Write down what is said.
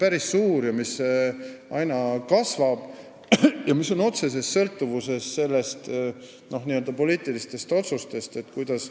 See, kuidas nad oma tegevust jätkata saavad, sõltub otseselt poliitilistest otsustest.